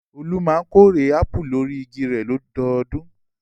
Olú máa ń kórè ápù lórí igi rẹ̀ lọ́dọọdún.